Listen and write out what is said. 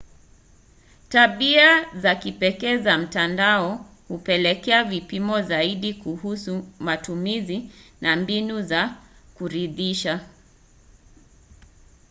tabia za kipekee za mtandao hupelekea vipimo zaidi kuhusu matumizi na mbinu za kuridhisha